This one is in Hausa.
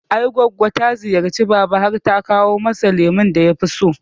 I goggo ta ziyarci baba har ta kawo masa lemon da yafi so